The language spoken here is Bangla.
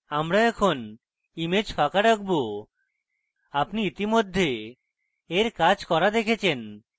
আমরা এখন image ফাঁকা রাখব আপনি ইতিমধ্যে we কাজ করা দেখেছেন